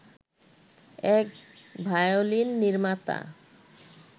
এক ভায়োলিন নির্মাতা